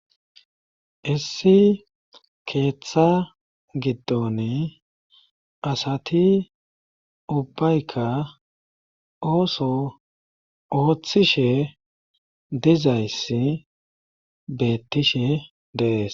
Issi keeththa giddon asati ubbayka ooso ooththishe dizayssi beettishe deees.